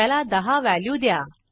त्याला 10 व्हॅल्यू द्या